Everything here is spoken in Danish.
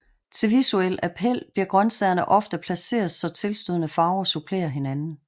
Til visuel appel bliver grøntsagerne ofte placeret så tilstødende farver supplerer hinanden